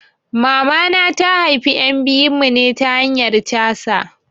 Mamana ta haifi ƴan biyun mu ne ta hanyan 'C.S'